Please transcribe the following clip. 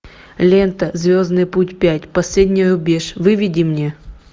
лента звездный путь пять последний рубеж выведи мне